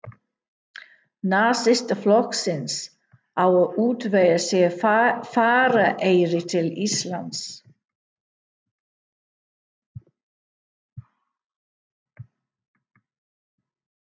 Nasistaflokksins, á að útvega sér farareyri til Íslands.